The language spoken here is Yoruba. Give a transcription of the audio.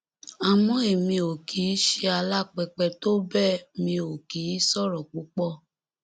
àmọ èmi ò kì í ṣe alápèpé tó bẹẹ mi ò kì í sọrọ púpọ